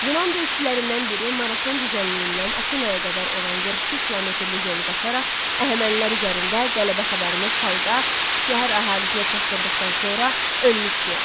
Yunan döyüşçülərindən biri Marafon düzənliyindən Afinaya qədər olan 42 kilometrlik yolu qaçaraq, Əhəmənilər üzərində qələbə xəbərini xalqa, şəhər əhalisinə çatdırdıqdan sonra ölmüşdü.